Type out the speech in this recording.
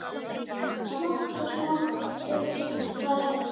Smátt og smátt eykst færnin.